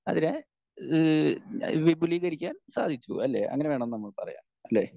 Speaker 1 അതിനെ ഏഹ് വിപുലീകരിക്കാൻ സാധിച്ചു. അല്ലേ അങ്ങനെ വേണം നമ്മൾ പറയാൻ അല്ലേ?